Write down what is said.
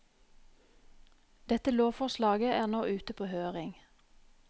Dette lovforslaget er nå ute på høring.